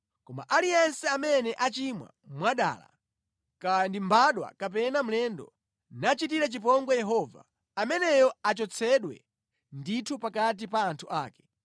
“ ‘Koma aliyense amene achimwa mwadala, kaya ndi mbadwa kapena mlendo, nachitira chipongwe Yehova, ameneyo achotsedwe ndithu pakati pa anthu ake.